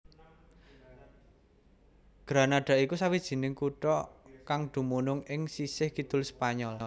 Granada iku sawijining kutha kang dumunung ing sisih kidul Spanyol